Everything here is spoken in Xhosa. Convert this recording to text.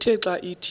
ithe xa ithi